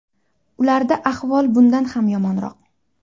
Ularda ahvol bundan ham yomonroq.